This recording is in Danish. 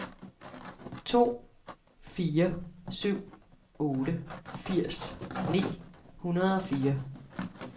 to fire syv otte firs ni hundrede og fire